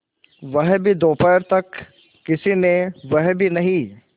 वह भी दोपहर तक किसी ने वह भी नहीं